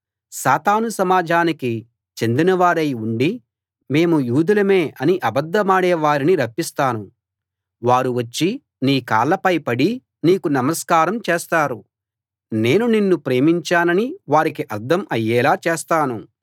సాతాను సమాజానికి చెందినవారై ఉండి మేము యూదులమే అని అబద్ధమాడే వారిని రప్పిస్తాను వారు వచ్చి నీ కాళ్ళపై పడి నీకు నమస్కారం చేస్తారు నేను నిన్ను ప్రేమించానని వారికి అర్థం అయ్యేలా చేస్తాను